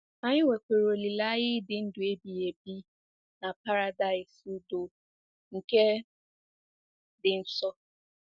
Anyị nwekwara olileanya ịdị ndụ ebighị ebi na Paradaịs udo nke dị nso.